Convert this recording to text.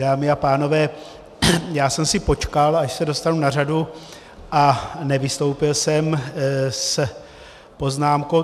Dámy a pánové, já jsem si počkal, až se dostanu na řadu, a nevystoupil jsem s poznámkou.